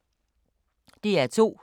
DR2